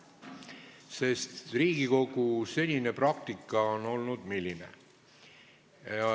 Sest Riigikogu senine praktika on olnud ... milline?